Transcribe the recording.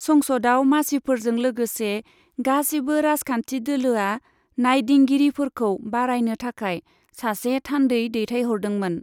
संसदआव मासिफोरजों लोगोसे गासिबो राजखान्थि दोलोआ नायदिंगिरिफोरखौ बारायनो थाखाय सासे थान्दै दैथायहरदोंमोन।